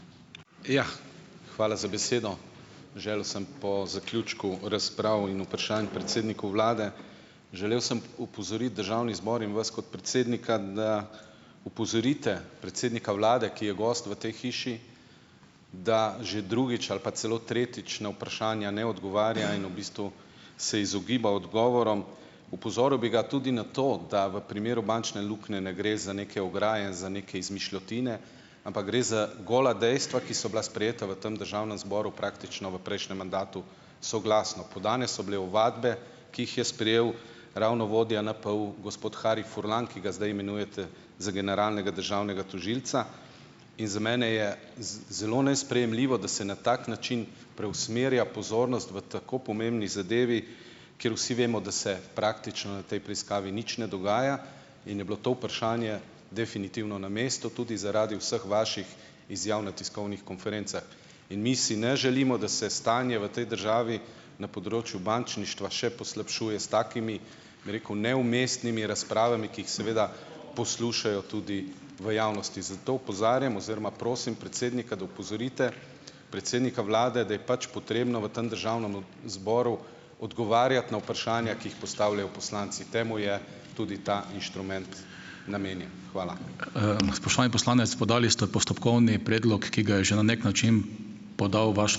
Jah. Hvala za besedo. Želel sem po zaključku razprav in vprašanj predsedniku vlade želel sem opozoriti državni zbor in vas kot predsednika, da opozorite predsednika vlade, ki je gost v tej hiši, da že drugič ali pa celo tretjič na vprašanja ne odgovarja in v bistvu se izogiba odgovorom. Opozoril bi ga tudi na to, da v primeru bančne luknje ne gre za neke ograje, za neke izmišljotine, ampak gre za gola dejstva, ki so bila sprejeta v tem državnem zboru praktično v prejšnjem mandatu soglasno. Podane so bile ovadbe, ki jih je sprejel ravno vodja NPU gospod Harij Furlan, ki ga zdaj imenujete za generalnega državnega tožilca. In za mene je z zelo nesprejemljivo, da se na tak način preusmerja pozornost v tako pomembni zadevi, kjer vsi vemo, da se praktično v tej preiskavi nič ne dogaja in je bilo to vprašanje definitivno na mestu tudi zaradi vseh vaših izjav na tiskovnih konferencah. In mi si ne želimo, da se stanje v tej državi na področju bančništva še poslabšuje s takimi, bi rekel, neumestnimi razpravami, ki jih seveda poslušajo tudi v javnosti, zato opozarjam oziroma prosim predsednika, da opozorite predsednika vlade, da je pač potrebno v tem državnem zboru odgovarjati na vprašanja, ki jih postavljajo poslanci. Temu je tudi ta inštrument namenjen. Hvala.